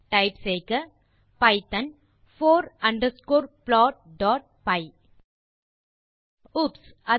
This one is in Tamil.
டைப் செய்க பைத்தோன் போர் அண்டர்ஸ்கோர் plotபை ஓப்ஸ்